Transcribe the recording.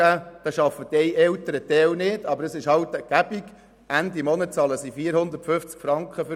Aber es ist halt angenehm, und Ende Monat bezahlen sie für diese Leistung 450 Franken.